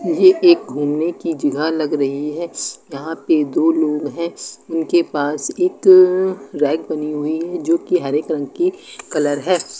ये एक घूमने की जगह लग रही है यहां पे दो लोग हैं उनके पास एक अअ रैक बनी हुई है जो कि हर रंग की कलर है।